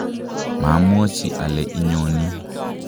mamwochi ale inyoni